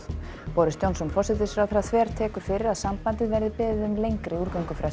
boris Johnson forsætisráðherra þvertekur fyrir að sambandið verði beðið um lengri